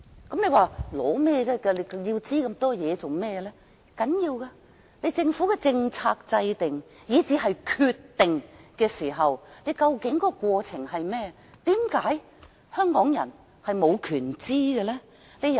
大家或會問為何要索取這麼多資料，但這其實很重要，政府如何制訂政策，以至決策過程如何，為何香港人無權知道？